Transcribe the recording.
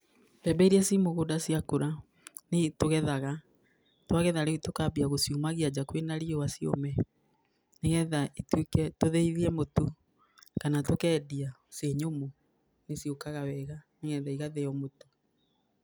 Mbembe ĩria ci mũgũnda ciakũra, nĩ i tũgethaga. Twagetha rĩu tũkambia gũciumagia nja kwĩna riua ciũme, nĩgetha ituĩke, tũthĩithie mũtu, kana tũkendia ciĩ nyũmũ nĩ ciũkaga wega. Nĩgetha igathĩo mũtu.